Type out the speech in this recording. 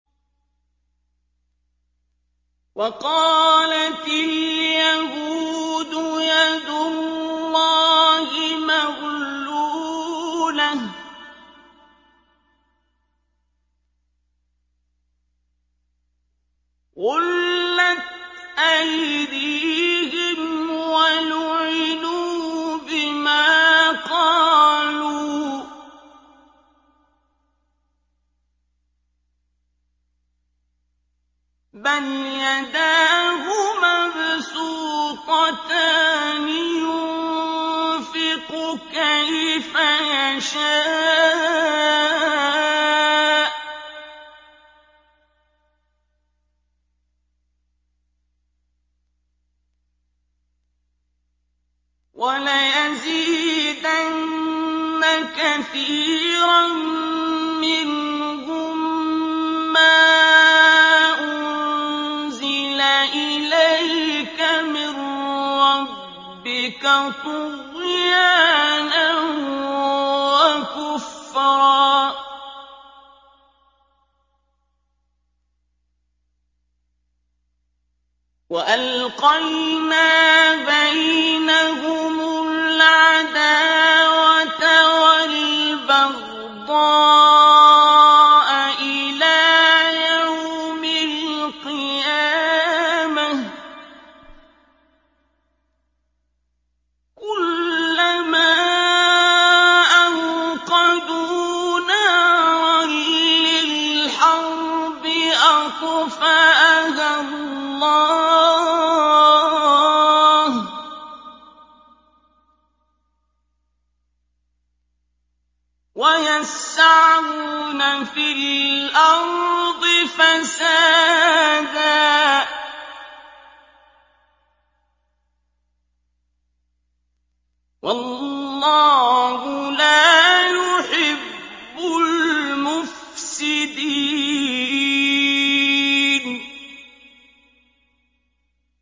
وَقَالَتِ الْيَهُودُ يَدُ اللَّهِ مَغْلُولَةٌ ۚ غُلَّتْ أَيْدِيهِمْ وَلُعِنُوا بِمَا قَالُوا ۘ بَلْ يَدَاهُ مَبْسُوطَتَانِ يُنفِقُ كَيْفَ يَشَاءُ ۚ وَلَيَزِيدَنَّ كَثِيرًا مِّنْهُم مَّا أُنزِلَ إِلَيْكَ مِن رَّبِّكَ طُغْيَانًا وَكُفْرًا ۚ وَأَلْقَيْنَا بَيْنَهُمُ الْعَدَاوَةَ وَالْبَغْضَاءَ إِلَىٰ يَوْمِ الْقِيَامَةِ ۚ كُلَّمَا أَوْقَدُوا نَارًا لِّلْحَرْبِ أَطْفَأَهَا اللَّهُ ۚ وَيَسْعَوْنَ فِي الْأَرْضِ فَسَادًا ۚ وَاللَّهُ لَا يُحِبُّ الْمُفْسِدِينَ